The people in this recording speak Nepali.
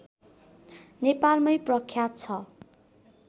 नेपालमै प्रख्यात छ